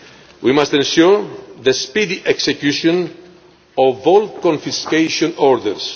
be used. We must ensure the speedy execution of all confiscation